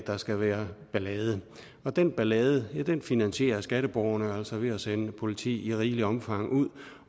der skal være ballade og den ballade finansierer skatteborgerne altså ved at sende politi i rigeligt omfang ud